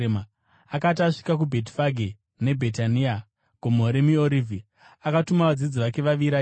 Akati asvika kuBhetifage neBhetania paGomo reMiorivhi, akatuma vadzidzi vake vaviri achiti,